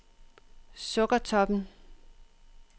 Sukkertoppen